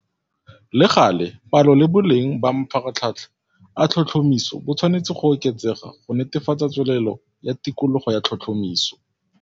Le gale, palo le boleng ba mafaratlhatlha a tlhotlhomiso bo tshwanetse go oketsega go netefatsa tswelelelo ya tikologo ya tlhotlhomiso.